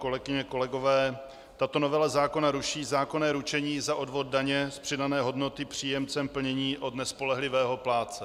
Kolegyně, kolegové, tato novela zákona ruší zákonné ručení za odvod daně z přidané hodnoty příjemcem plnění od nespolehlivého plátce.